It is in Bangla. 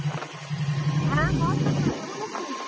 হ্যাঁ বল সজল কেমন আছিস?